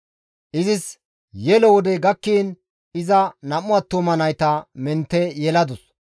Izis yelo wodey gakkiin iza 2 attuma nayta mentte yeladus.